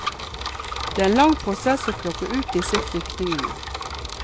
Det er en lang prosess å plukke ut disse flyktningene.